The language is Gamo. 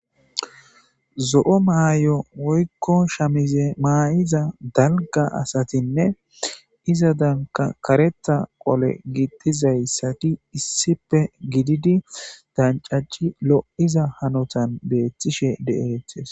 zo7o maayo woykko shamize maa7iza dalga asatinne iza danka karetha qole giittizayssati issipe gididi dancaci lo7iza hanotan beettishe de7eetes